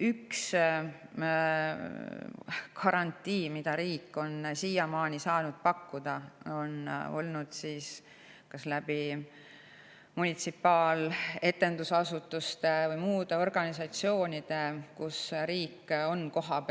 Üks garantii, mida riik on siiamaani saanud pakkuda, on olnud see, et riik munitsipaaletendusasutuste või muude organisatsioonide kaudu, kus ta on kohal,